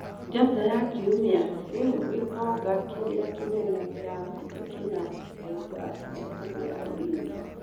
(Njata ya Kiumia) Rĩu gĩtonga kĩrĩa kĩnene Afrika kĩna mbeca cia kũgũra Ulinzi?